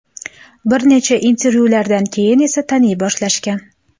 Bir necha intervyulardan keyin esa taniy boshlashgan.